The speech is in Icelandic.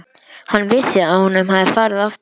Hann vissi að honum hafði farið aftur.